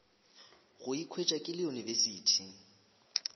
go ikhwetša ke le university